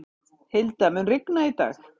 Hilda, mun rigna í dag?